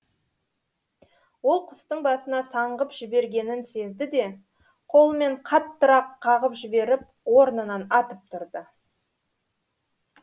ол құстың басына саңғып жібергенін сезді де қолымен қаттырақ қағып жіберіп орнынан атып тұрды